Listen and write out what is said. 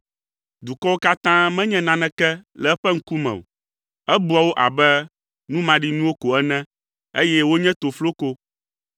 Dukɔwo katã menye naneke le eƒe ŋkume o. Ebua wo abe nu maɖinuwo ko ene, eye wonye tofloko.